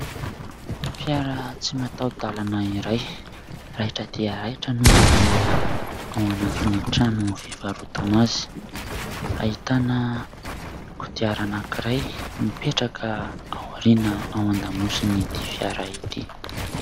Fiara tsy mataho-dalana iray raitra dia raitra no mbola ao anatin'ny trano fivarotana azy ; ahitana kodiarana anankiray mipetraka ao aoriana ao an-damosiny ity fiara ity.